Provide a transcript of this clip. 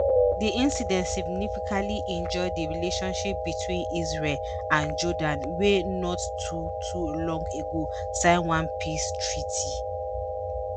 di incident significantly injure di relationship between israel and jordan wey not too too long ago sign one peace treaty.